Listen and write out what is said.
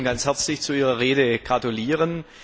Ich möchte Ihnen ganz herzlich zu Ihrer Rede gratulieren!